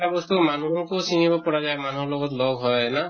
এটা বস্তু মানুহোকো চিনিব পাৰা যায়, মানুহৰ লগত লগ হয় না